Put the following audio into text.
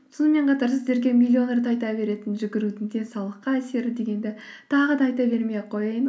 сонымен қатар сіздерге миллион рет айта беретін жүгірудің денсаулыққа әсері дегенді тағы да айта бермей ақ қояйын